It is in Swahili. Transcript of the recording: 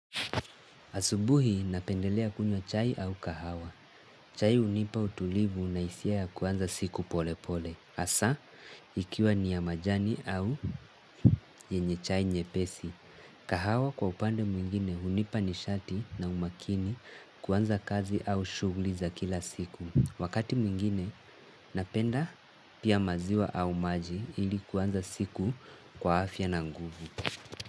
Asubuhi napendelea kunywa chai au kahawa. Chai hunipa utulivu na hisia ya kuanza siku pole pole. Hasa, ikiwa ni ya majani au yenye chai nyepesi. Kahawa kwa upande mwingine hunipa nishati na umakini kuanza kazi au shughuli kila siku. Wakati mwingine napenda pia maziwa au maji ili kuanza siku kwa afya na nguvu.